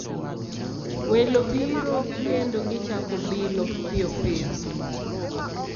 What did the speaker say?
Welo biro, kendo gichako bilo piyo piyo